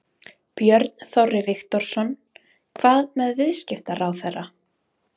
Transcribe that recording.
Björn Þorri Viktorsson: Hvað með viðskiptaráðherra?